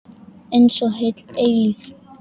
Einsog heil eilífð.